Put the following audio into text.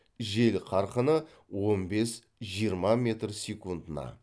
жел қарқыны он бес жиырма метр секундына